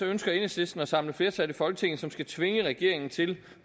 ønsker enhedslisten at samle flertal i folketinget som skal tvinge regeringen til